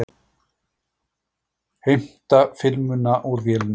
Heimta filmuna úr vélinni.